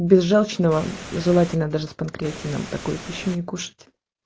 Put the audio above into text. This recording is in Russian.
без жёлчного желательно даже с панкреатином такое пищу не кушать